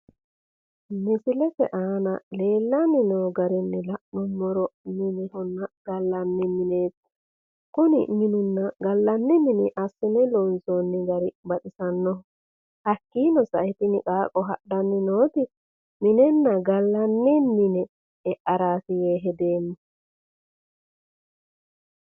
Misilete aana leellanni noo garinni la'nummoro minehonna gallanni. Kuni mininna gallanni mini assine loonsoonni gari baxisannoho. Hakkiino sae tini qaaqqo hadhanni nooti minenna gallanni mine e'araati yee hedeemma.